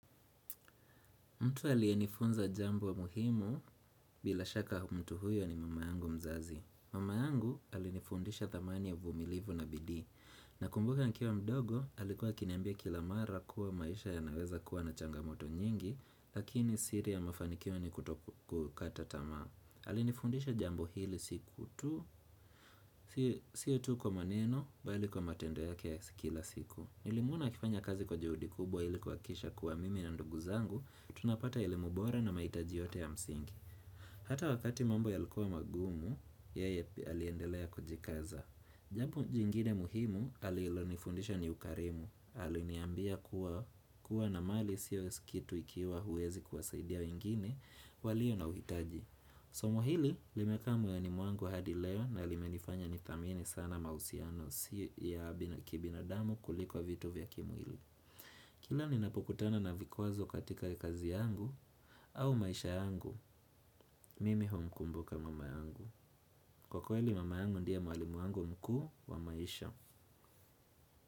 Mtu aliyenifunza jambo muhimu bila shaka mtu huyo ni mama yangu mzazi. Mama yangu alinifundisha thamani ya vumilivu na bidhi. Nakumbuka nikiwa mdogo, alikuwa akiniambia kila mara kuwa maisha yanaweza kuwa na changamoto nyingi, lakini siri ya mafanikio ni kutoku kata tama. Alinifundisha jambo hili siku tu, siyo tu kwa maneno, bali kwa matendo yake ya kila siku. Nilimuona akifanya kazi kwa juhudi kubwa ili kuhakikisha kuwa mimi na ndugu zangu, tunapata elimu bora na mahitaji yote ya msingi Hata wakati mambo yalikuwa magumu Yeye aliendelea kujikaza Jambo jingide muhimu alilonifundisha ni ukarimu Aliniambia kuwa na mali sio kitu ikiwa huwezi kuwasaidia wengine walio na uhitaji Somo hili limekaa moyoni mwangu hadi leo na limenifanya ni thamini sana mahusiano Si ya kibinadamu kuliko vitu vya kimwili Kila ninapokutana na vikwazo katika ya kazi yangu au maisha yangu Mimi humkumbuka mama yangu Kwa kweli mama yangu ndiye mwalimu wangu mkuu wa maisha.